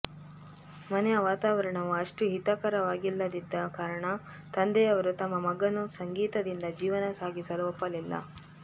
ಮನೆಯ ವಾತಾವರಣವು ಅಷ್ಟು ಹಿತಕರವಾಗಿಲ್ಲದಿದ್ದ ಕಾರಣ ತಂದೆಯವರು ತಮ್ಮ ಮಗನು ಸಂಗೀತದಿಂದ ಜೀವನ ಸಾಗಿಸಲು ಒಪ್ಪಲಿಲ್ಲ